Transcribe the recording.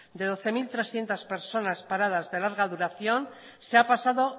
de doce mil trescientos personas paradas de larga duración se ha pasado